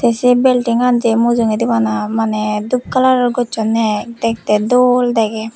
eh sey bildinggan jay mujungeydi bana manay dup colour gosonay dok tay doll degay.